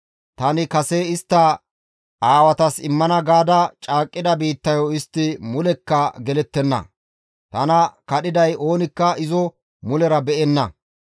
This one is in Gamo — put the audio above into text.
tani kase istta aawatas immana gaada caaqqida biittayo istti mulekka gelettenna; tana kadhiday oonikka izo mulera be7enna.